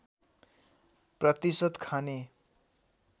प्रतिशत खाने